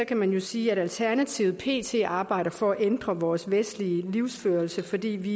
kan man jo sige at alternativet pt arbejder for at ændre vores vestlige livsførelse fordi vi